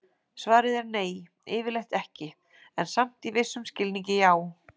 Svarið er nei, yfirleitt ekki, en samt í vissum skilningi já!